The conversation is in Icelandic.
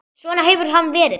Svona hefur hann verið.